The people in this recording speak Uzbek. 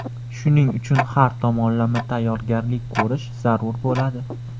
Shuning uchun har tomonlama tayyorgarlik ko‘rish zarur bo‘ladi.